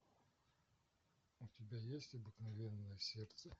у тебя есть обыкновенное сердце